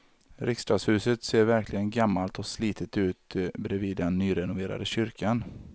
Riksdagshuset ser verkligen gammalt och slitet ut bredvid den nyrenoverade kyrkan.